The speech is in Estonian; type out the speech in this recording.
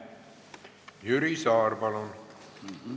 Jüri Saar, palun!